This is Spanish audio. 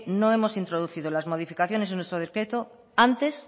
no hemos introducido las modificaciones en nuestro decreto antes